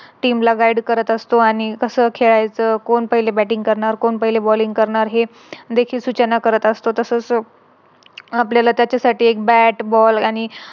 Team ला Guide करत असतो आणि कसं खेळायचं, कोण पहिले Batting करणार, कोण पहिले Bowling करणार हे देखील सूचना करत असतो. तसच आपल्याला त्याच्यासाठी एक Bat, ball आणि